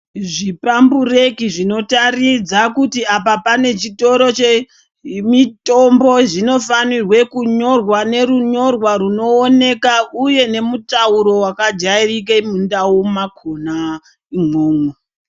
Zvipambureki zvinotaridza kuti apa pane chitoro chemitombo zvinofanirwa kunyorwa nemunyorwa unooneka uye nemutauro wakajairika mundau mwakona imwomwo.